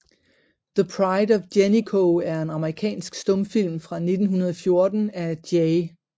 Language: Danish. The Pride of Jennico er en amerikansk stumfilm fra 1914 af J